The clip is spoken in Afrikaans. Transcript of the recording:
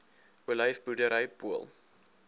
olyf boerdery pool